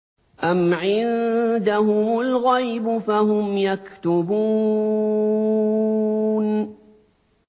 أَمْ عِندَهُمُ الْغَيْبُ فَهُمْ يَكْتُبُونَ